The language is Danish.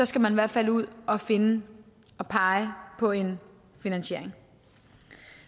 skal man i hvert fald ud og finde og pege på en finansiering